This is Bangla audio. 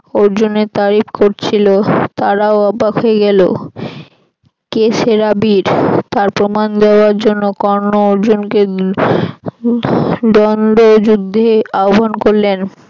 অর্জুনের তারিফ করছিল তারাও অবাক হয়ে গেল কে সেরা বীর তার প্রমাণ দেওয়ার জন্য কর্ণ অর্জুনকে দন্দ্ব যুদ্ধে আহব্বান করলেন